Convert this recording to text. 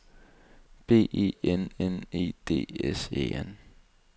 B E N N E D S E N